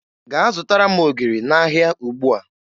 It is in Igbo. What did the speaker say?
Gaa zụtara m ogiri n'ahịa ugbua!